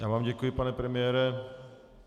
Já vám děkuji, pane premiére.